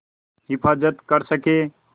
हिफ़ाज़त कर सकें